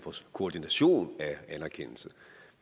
koordination af anerkendelsen